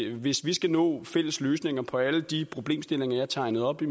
hvis vi skal nå fælles løsninger på alle de problemstillinger jeg tegnede op i